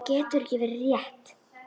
Það getur ekki verið rétt.